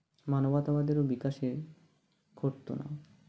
মানবতাবাদের বিকাশে ঘটতো না